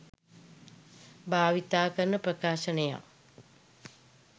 භාවිතා කරන ප්‍රකාශනයක්.